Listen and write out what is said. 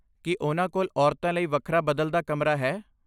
ਕੀ ਉਨ੍ਹਾਂ ਕੋਲ ਔਰਤਾਂ ਲਈ ਵੱਖਰਾ ਬਦਲਦਾ ਕਮਰਾ ਹੈ?